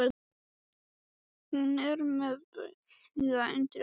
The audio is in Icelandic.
Hún er með bauga undir augunum.